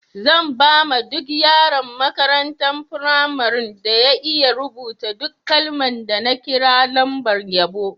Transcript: Zan ba ma duk yaron makarantan firamarin da ya iya rubuta duk kalman da na kira lambar yabo.